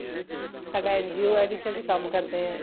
ਸਾਡਾ NGO ਆ ਜਿਥੇ ਅਸੀਂ ਕੰਮ ਕਰਦੇ ਹਾਂ